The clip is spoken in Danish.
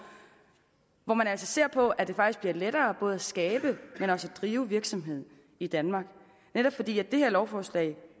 hvor man altså ser på at det faktisk bliver lettere både at skabe men også at drive virksomhed i danmark netop fordi det her lovforslag